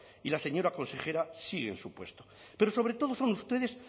y la señora consejera sigue en su puesto pero sobre todo son ustedes